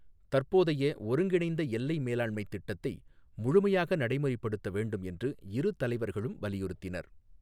தற்போதைய ஒருங்கிணைந்த எல்லை மேலாண்மைத் திட்டத்தை முழுமையாக நடைமுறைப்படுத்த வேண்டும் என்று இரு தலைவர்களும் வலியுறுத்தினர்.